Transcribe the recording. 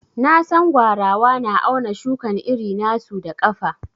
Na San gwarawa na auna shukan iri na su da kafa.